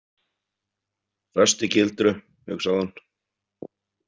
Föst í gildru, hugsaði hún.